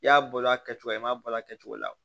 I y'a bɔ a kɛcogo la i m'a bɔ a kɛcogo la wo